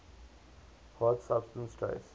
hard substrate trace